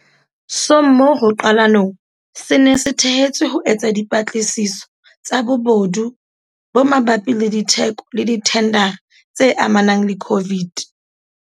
sommo ho qalonong se ne se thehetswe ho etsa dipatlisiso tsa bobodu bo mabapi le ditheko le dithendara tse amanang le COVID.